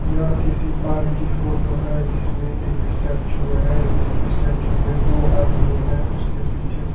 यह किसी पार्क की फोटो है जिसमें एक स्टेचू है जिस स्टेचू में दो आदमी है उसके पीछे--